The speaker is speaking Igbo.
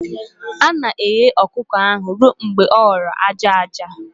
A na-eghe ọkụkọ ahụ ruo mgbe ọ ghọrọ aja aja